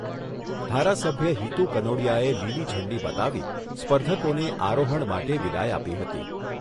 ધારાસભ્ય હિતુ કનોડિયાએ લીલી ઝંડી બતાવી સ્પર્ધકોને આરોહણ માટે વિદાય આપી હતી.